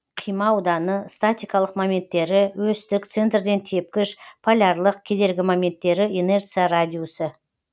қима ауданы статикалық моменттері өстік центрден тепкіш полярлық кедергі моменттері инерция радиусы